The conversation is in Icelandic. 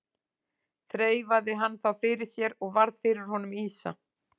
Þreifaði hann þá fyrir sér og varð fyrir honum ýsa.